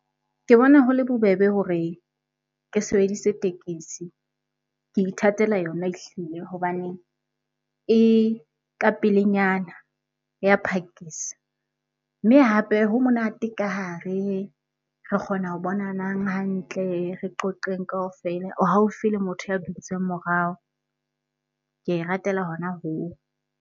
Ke bona ho le bobebe hore ke sebedise tekesi. Ke ithatela yona ehlile hobane e ka pelenyana, ya phakisa. Mme hape ho monate ka hare re kgona ho bonanang hantle, re qoqeng kaofela, o haufi le motho ya dutseng morao. Ke e ratela hona hoo.